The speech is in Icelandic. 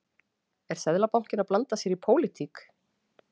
Er Seðlabankinn að blanda sér í pólitík?